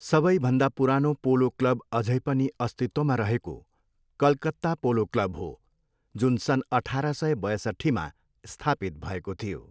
सबैभन्दा पुरानो polo club अझै पनि अस्तित्वमा रहेको कलकत्ता पोलो क्लब हो, जुन सन् अठार सय बयसट्ठीमा स्थापित भएको थियो।